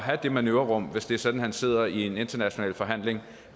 have det manøvrerum hvis det er sådan at han sidder i en international forhandling